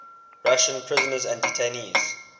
russian prisoners and detainees